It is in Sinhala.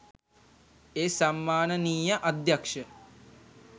ඒ සම්මානනීය අධ්‍යක්ෂ